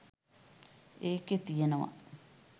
ඒකෙ තියනව